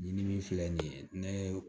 Ɲimin filɛ nin ye ne